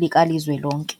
Likazwelonke.